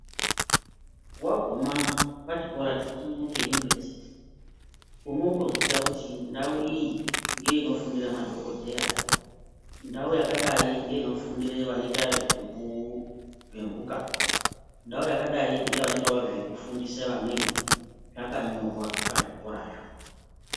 Waguma pachikora chikuru cheyunivhesiti unotoziya kuti ndau iyi ngeinofundira madhokodheya, ndau yakadai ngeinofundira zvemphuka, ndau yakadai ndeinoitawo nezvevanofundisa vamweni. Zvakanyorwa pazvikorazvo.